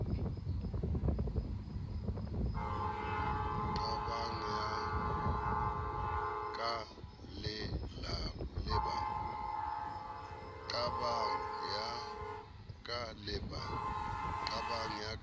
qabang ya ka le ba